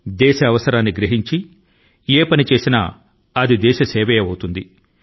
దేశ అవసరాన్ని దృష్టి లో పెట్టుకొని మీరు ఏ సహాయాన్ని చేసినా అది సేవా స్ఫూర్తి కి లోబడి ఉంటుంది